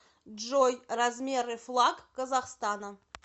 джой размеры флаг казахстана